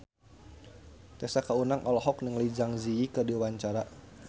Tessa Kaunang olohok ningali Zang Zi Yi keur diwawancara